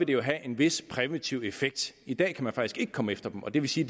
vil have en vis præventiv effekt i dag kan man faktisk ikke komme efter dem og det vil sige